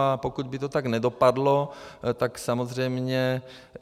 A pokud by to tak nedopadlo, tak samozřejmě...